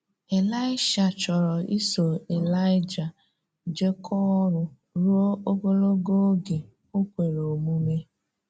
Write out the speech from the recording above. Ị̀laị́sha chọ́rọ̀ isò Ị̀laị́ja jekọọ̀ ọrụ̀ rúò́ ogologò oge o kwerè omume.